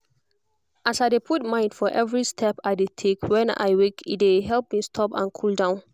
as i dey put mind for every step i dey take when i waka e dey help me stop and cool down